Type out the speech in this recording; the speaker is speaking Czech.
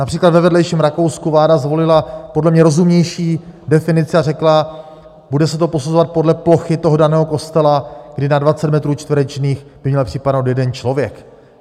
Například ve vedlejším Rakousku vláda zvolila podle mě rozumnější definici a řekla, bude se to posuzovat podle plochy toho daného kostela, kdy na 20 metrů čtverečních by měl připadnout jeden člověk.